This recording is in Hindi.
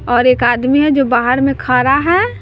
और एक आदमी है जो बाहर में खारा है।